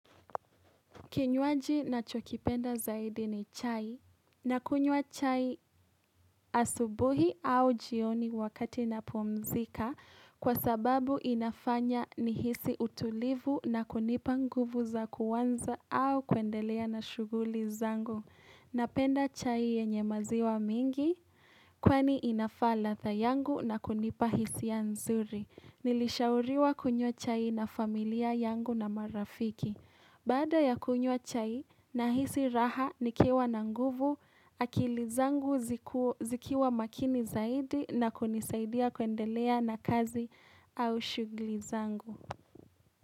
Kinywaji nachokipenda zaidi ni chai nakunywa chai asubuhi au jioni wakati na pumzika kwa sababu inafanya ni hisi utulivu na kunipa nguvu za kuanza au kuendelea na shughuli zangu. Napenda chai yenye maziwa mingi kwani inafaa ladha yangu na kunipa hisi ya nzuri. Nilishauriwa kunywa chai na familia yangu na marafiki. Bada ya kunywa chai nahisi raha nikiwa na nguvu, akili zangu zikiwa makini zaidi na kunisaidia kuendelea na kazi au shughuli zangu.